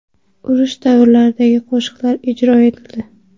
Urush davrlaridagi qo‘shiqlar ijro etildi.